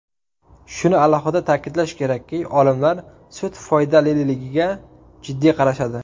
Shuni alohida ta’kidlash kerakki, olimlar sut foydaliligiga jiddiy qarashadi.